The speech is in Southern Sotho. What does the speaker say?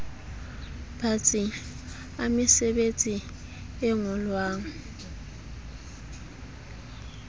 batsi a mesebetsi e ngolwang